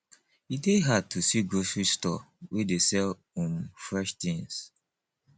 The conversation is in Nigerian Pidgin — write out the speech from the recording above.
e dey hard to see grocery store wey dey sell um fresh tins